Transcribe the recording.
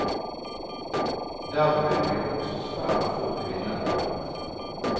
Dermed blir også svært få kvinner valgt.